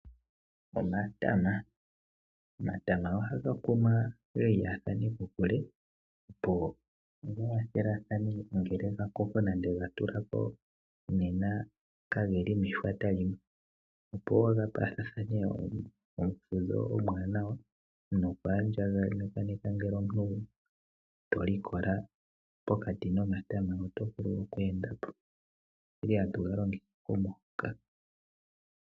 Omatama. Omatama ohaga kunwa gelyathane kokule, opo gawathelathane ngele gakoko nande gatulako, nena kageli meshwata limwe. Opo gapathathane omufudho omwanawa nokwandjagakaneka ngele omuntu tolikola pokati nomatama oto vulu okwendapo. Ile hatu galongitha momuhoka.